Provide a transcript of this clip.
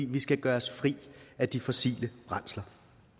vi skal gøre os fri af de fossile brændsler